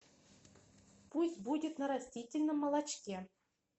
пусть будет на растительном молочке